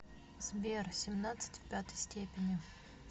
сбер семнадцать в пятой степени